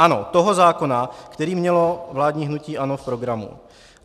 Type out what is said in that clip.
Ano, toho zákona, který mělo vládní hnutí ANO v programu.